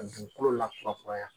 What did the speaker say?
Dugukolo lakurakuraya